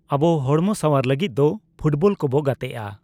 ᱟᱵᱚ ᱦᱚᱲᱢᱚ ᱥᱟᱣᱣᱟᱨ ᱞᱟᱹᱜᱤᱫ ᱫᱚ ᱯᱷᱩᱴᱵᱚᱞ ᱠᱚᱵᱚ ᱜᱟᱛᱮᱜᱼᱟ